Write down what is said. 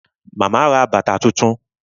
Màmá ra bàtà tuntun